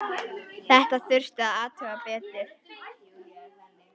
Þetta þurfti að athuga betur.